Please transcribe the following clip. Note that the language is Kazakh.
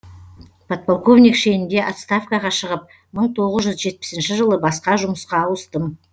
подполковник шенінде отставкаға шығып мың тоғыз жүз жетпісінші жылы басқа жұмысқа ауыстым